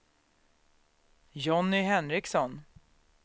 Jonny Henriksson